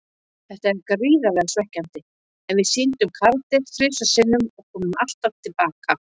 Þetta er gríðarlega svekkjandi, en við sýndum karakter þrisvar sinnum og komum alltaf til baka.